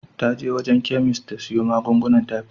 Ta je wajen chemist ta siyo magungunan typhoid.